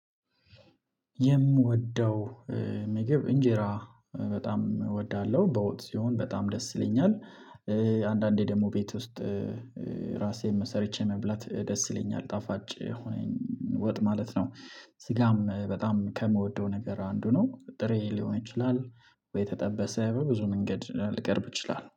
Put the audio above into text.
የምወደው ምግብ እንጀራ በጣም እወዳለሁ በወጥ ሲሆን በጣም ደስ ይለኛል። አንዳንዴ ደግሞ ቤት ውስጥ። ራሴን ሰርቼ መብላት ደስ ይለኛል ጣፋጭ የሆነ ወጥ ማለት ነው። ስጋም በጣም ከምወደው ነገር አንዱ ነው። ጥሬ ሊሆን ይችላል ወይ የተጠበሰ በብዙ መንገድ ሊቀርብ ይችላል